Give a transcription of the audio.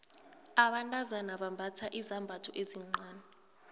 abantazana bambatha izambatho ezincani